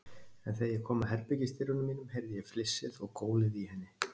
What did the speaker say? En þegar ég kom að herbergisdyrunum mínum, heyrði ég flissið og gólið í henni.